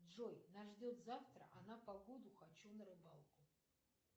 джой нас ждет завтра а на погоду хочу на рыбалку